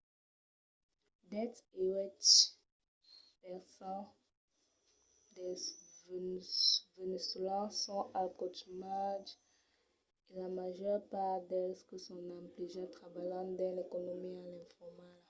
dètz-e-uèch per cent dels veneçolans son al caumatge e la màger part dels que son emplegats trabalhan dins l’economia informala